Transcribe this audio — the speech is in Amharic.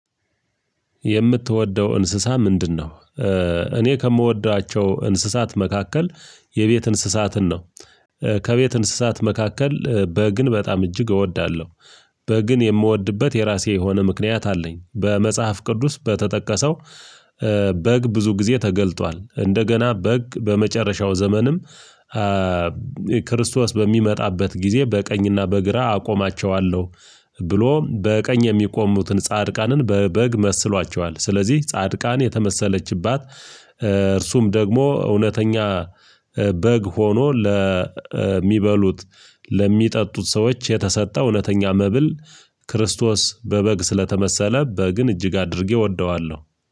የምትወደው እንስሳ ምንድነው እኔ ከምወዷቸው እንስሳት መካከል የቤት እንስሳትን ነው ከቤት እንስሳት መካከል በግን በጣም እጅግ እወዳለሁ። በግን የምወድበት የራሴ የሆነ ምክንያት አለኝ በመጽሐፍ ቅዱስ በተጠቀሰው በግ ብዙ ጊዜ ተገልጧል እንደገና በግ በመጨረሻው ዘመንም ክርስቶስ በሚመጣበት ጊዜ በቀኝና በግራ አቆማቸዋለሁ ብሎ በቀኝ የሚቆሙትን ጻድቃንን በበግ መስሏቸዋል ስለዚህ ጻድቃን የተመሰለችባት እርሱም ደግሞ እውነተኛ በግ ሆኖ ለሚበሉት ለሚጠጡት ሰዎች የተሰጠ እውነተኛ መብል ክርስቶስ በበግ ስለተመሰለ በግን እጅግ አድርጌ እወደዋለሁ።